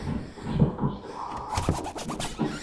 у тебя будет ла ла ленд